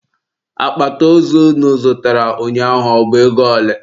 Akpati ozu unu zụtara ụnyaahụ bụ ego ole?